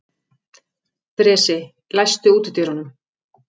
Bresi, læstu útidyrunum.